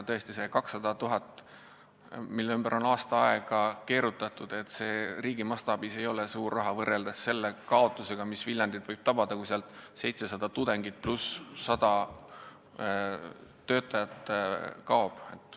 Tõesti, see 200 000 eurot, mille ümber on aasta aega ringi keerutatud, pole riigi mastaabis suur raha võrreldes selle kaotusega, mis Viljandit võib tabada, kui sealt 700 tudengit pluss 100 töötajat kaob.